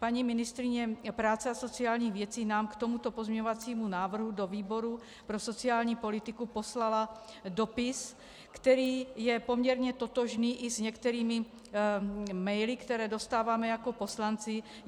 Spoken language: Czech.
Paní ministryně práce a sociálních věcí nám k tomuto pozměňovacímu návrhu do výboru pro sociální politiku poslala dopis, který je poměrně totožný i s některými maily, které dostáváme jako poslanci.